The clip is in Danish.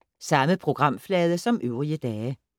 Samme programflade som øvrige dage